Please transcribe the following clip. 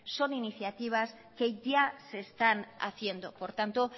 son iniciativas que ya se están haciendo por tanto